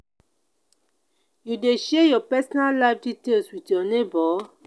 you dey share your personal life details with your neighbors?